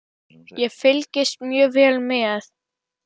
Ég fylgist mjög vel með.